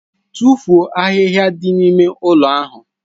Tụfuo ahịhịa dị n'ime ụlọ ahụ!